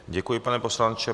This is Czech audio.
Děkuji, pane poslanče.